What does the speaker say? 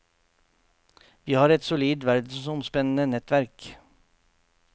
Vi har et solid verdensomspennende nettverk.